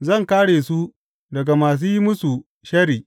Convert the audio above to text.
Zan kāre su daga masu yin musu sharri.